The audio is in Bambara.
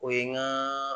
O ye n ka